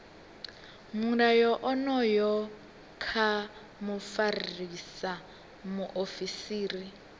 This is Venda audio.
mulayo onoyu kha mufarisa muofisiri